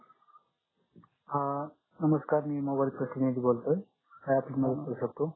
अं नमस्कार मी मोबाईल प्रतिनिधि बोलतोय काही आपली मदत करू शकतो